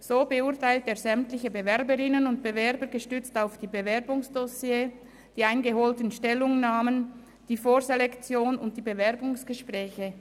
So beurteilt er sämtliche Bewerberinnen und Bewerber gestützt auf die Bewerbungsdossiers, die eingeholten Stellungnahmen, die Vorselektion und die Bewerbungsgespräche.